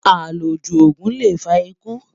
àlọ jù ògún lè fà ikú